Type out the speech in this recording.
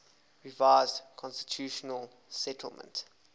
revised constitutional settlement